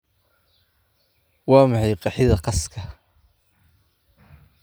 Waa maxay qeexida qaska?